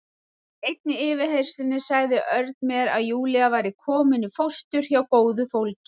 Í einni yfirheyrslunni sagði Örn mér að Júlía væri komin í fóstur hjá góðu fólki.